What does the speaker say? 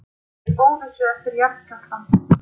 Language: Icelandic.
Í óvissu eftir jarðskjálftann